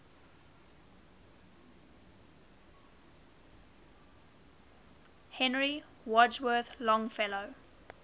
henry wadsworth longfellow